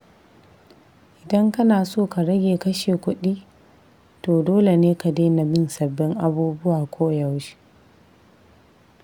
Idan kana so ka rage kashe kudi, to dole ne ka daina bin sabbin abubuwa koyaushe.